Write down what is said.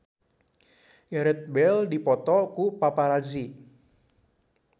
Gareth Bale dipoto ku paparazi